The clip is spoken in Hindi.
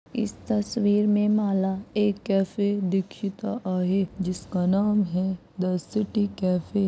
इस तस्वीर में माला एक कैफे दीक्षिता आहे जिसका नाम है द सिटी कैफे ।